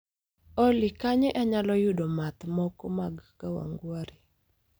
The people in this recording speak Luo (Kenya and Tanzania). Olly kanye anyalo yudo math moko mag kawangware